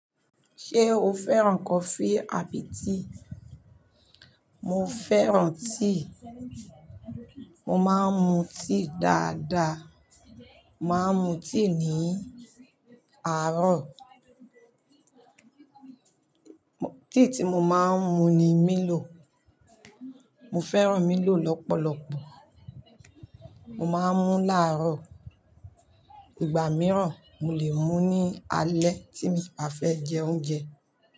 Ṣé o fẹ́ràn coffee àbí tea? Mo fẹ́ràn tea. Mo máa ń mu tea dáadáa. Mo máa ń mu tea ní àárọ̀. Tea tí mo máa ń mu ni Milo. Mo fẹ́ràn Milo lọ́pọ̀lọpọ̀. Mo máa ń mu láàárọ̀. Ìgbà mìíràn, mo lè mu ní alẹ́ tí min bá fẹ́ jẹ oúnjẹ.